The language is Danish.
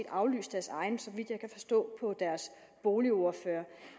aflyst deres egen så vidt jeg kan forstå på deres boligordfører